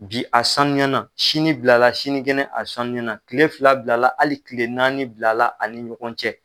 Bi a sanuyana sini bilala sinikɛnɛ a sanuyana tile fila bilala hali tile naani bilala ani ɲɔgɔn cɛ.